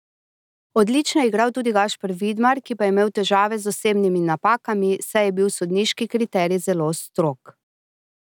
Odlično je igral tudi Gašper Vidmar, ki pa je imel težave z osebnimi napakami, saj je bil sodniški kriterij zelo strog.